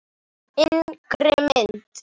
Yngri mynt